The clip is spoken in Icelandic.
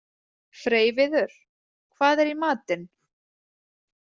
Freyviður, hvað er í matinn?